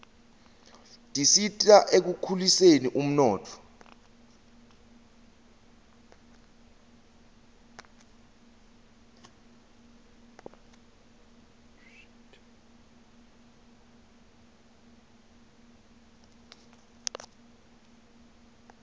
tisita ekukhuliseni umnotfo